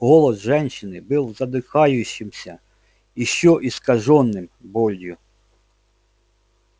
голос женщины был задыхающимся ещё искажённым болью